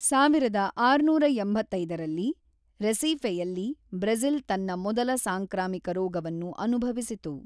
ಸಾವಿರದ ಆರುನೂರ ಎಂಬತ್ತೊಂಬತ್ತರಲ್ಲಿ, ರೆಸೀಫೆಯಲ್ಲಿ, ಬ್ರೆಜಿಲ್ ತನ್ನ ಮೊದಲ ಸಾಂಕ್ರಾಮಿಕ ರೋಗವನ್ನು ಅನುಭವಿಸಿತು.